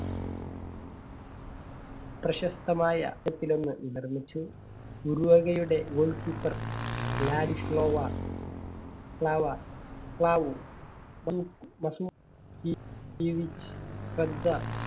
പ്രശസ്തമായ ഒന്ന് നിർമിച്ചു. ഉറുഗ്വേയുടെ goal keeper ലാഡിസ്ലാേവാ